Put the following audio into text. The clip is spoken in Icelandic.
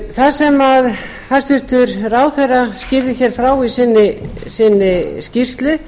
það sem hæstvirtur ráðherra skýrði hér frá í sinni skýrslu